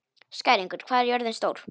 Skæringur, hvað er jörðin stór?